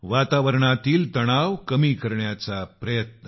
वातावरणातील तणाव कमी करण्याचा प्रयत्न